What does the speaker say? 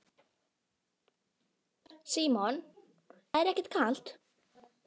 Símon: Það er ekkert kalt?